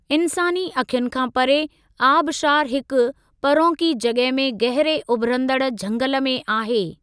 इन्सानी अखियुनि खां परे, आबशारु हिकु परोंकी जॻह में गहिरे उभिरन्दड़ झंगल में आहे।